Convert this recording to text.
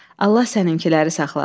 Allah səninkiləri saxlasın.